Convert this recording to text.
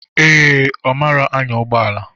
Ee, Ọ marọ anya ụgbọala.